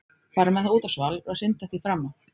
Fara með það út á svalir og hrinda því fram af.